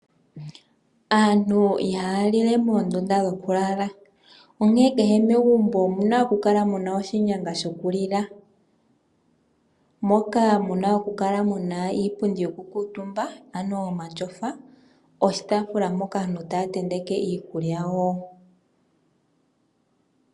Aantu ihaya li le moondunda dhoku lala. Onkene kehe megumbo omu na okukala mu na oshinyanga shokulila moka hamu kala muna iipundi yoku kuutumba ano omatyofa noshitaafula mpoka aantu taya tenteke iikulya yawo.